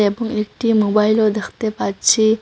এবং একটি মোবাইলও দ্যাখতে পাচ্ছি।